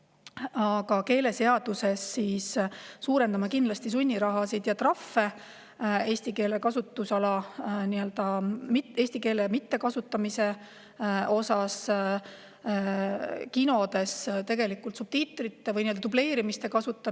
Aga keeleseaduses suurendame kindlasti sunnirahasid ja trahve eesti keele mittekasutamise eest, näiteks kinos võõrkeelsete filmide subtiitrite või dubleerimise puhul.